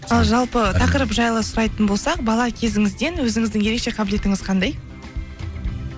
ал жалпы тақырып жайлы сұрайтын болсақ бала кезіңізден өзіңіздің ерекше қабілетіңіз қандай